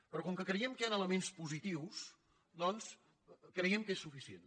però com que creiem que hi han elements positius doncs creiem que és suficient